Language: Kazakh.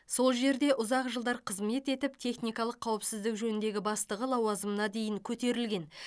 сол жерде ұзық жылдар қызмет етіп техникалық қауіпсіздік жөніндегі бастығы лауазымына дейін көтерілген